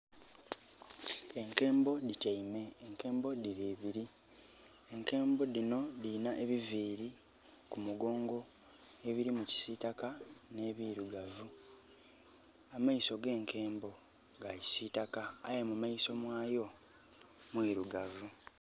Enkembo dhityaime. Enkembo dhili ibili. Enkembo dhino dhilina ebiviiri ku mugongo ebilimu kisiitaka nh'ebirugavu. Amaiso gh'enkembo ga kisiitaka aye mu maiso mwayo mwirugavu.